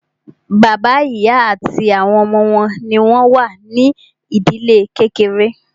Bàbá, ìyá àti àwọn ọmọ wọn ní o wà ní ìdílé kékeré.